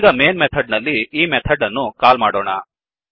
ಈಗ main method ನಲ್ಲಿ ಈ ಮೆಥಡ್ ಅನ್ನು ಕಾಲ್ ಮಾಡೋಣ